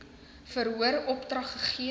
verhoor opdrag gegee